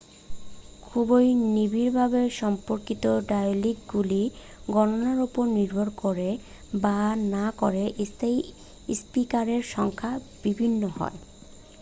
খুবই নিবিড়ভাবে সম্পর্কিত ডায়ালিকগুলির গণনার উপর নির্ভর করে বা না করে স্থানীয় স্পিকারের সংখ্যা বিভিন্ন হয়